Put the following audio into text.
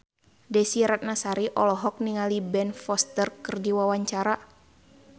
Desy Ratnasari olohok ningali Ben Foster keur diwawancara